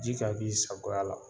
Ji ka b'i sagoya la.